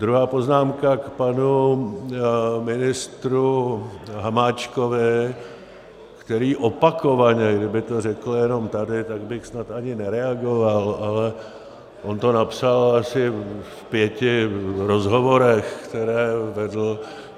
Druhá poznámka, k panu ministru Hamáčkovi, který opakovaně - kdyby to řekl jenom tady, tak bych snad ani nereagoval, ale on to napsal asi v pěti rozhovorech, které vedl.